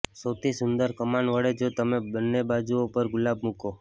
સૌથી સુંદર કમાન વળે જો તમે બંને બાજુઓ પર ગુલાબ મૂકો